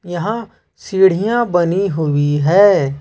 यहां सीढ़ियां बनी हुई है।